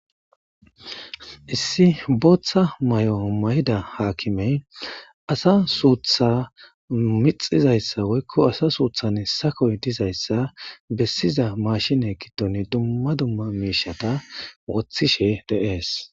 Issi booththa may7o may7ida haakimey asa suutha mixizayssa woykko asa suuthan sakoy dizayssa bessiza maashine kitton dumma dumma miishata wothishe deees